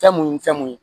Fɛn mun ni fɛn mun ye